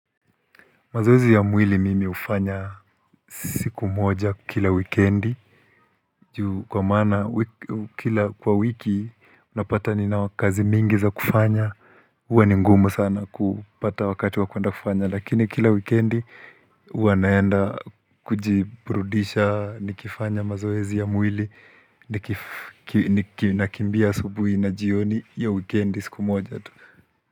Mazoezi ya mwili mimi hufanya siku moja kila wikendi kwa maana, kwa wiki napata nina kazi mingi za kufanya huwa ni ngumu sana kupata wakati wa kuenda kufanya lakini kila wikendi huwa naenda kujibrudisha nikifanya mazoezi ya mwili nakimbia asubuhi na jioni hiyo wikendi siku moja tu.